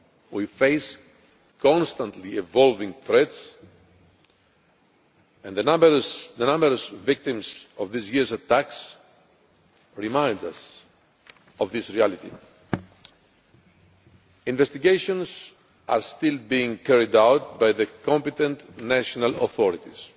we face constantly evolving threats, and the numerous victims of this year's attacks remind us of this reality. Investigations are still being carried out by the competent national authorities.